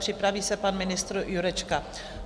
Připraví se pan ministr Jurečka.